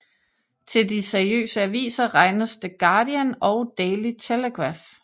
Til de seriøse aviser regnes The Guardian og Daily Telegraph